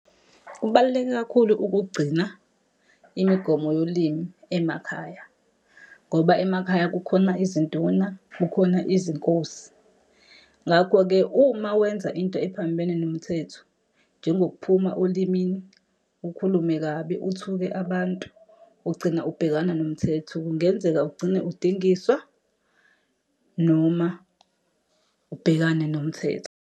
Kubaluleke kakhulu ukugcina imigomo yolimi emakhaya, ngoba emakhaya kukhona izinduna, kukhona izinkosi. Ngakho-ke uma wenza into ephambene nomthetho, njengokuphuma olimini, ukhulume kabi, uthuke abantu, ugcina ubhekana nomthetho. Kungenzeka ugcine udingiswa, noma ubhekane nomthetho.